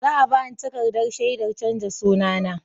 Za a ba ni takardar shaidar canza sunana.